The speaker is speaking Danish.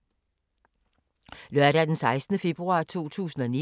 Lørdag d. 16. februar 2019